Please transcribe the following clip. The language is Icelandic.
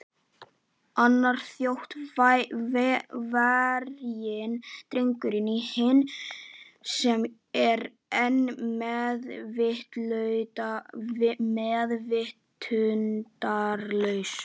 Annar Þjóðverjinn dregur inn hinn sem er enn meðvitundarlaus.